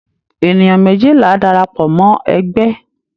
Ènìyàn méjìlá darapọ̀ mọ́ ẹgbẹ́.